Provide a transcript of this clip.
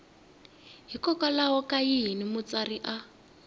hikokwalaho ka yini mutsari a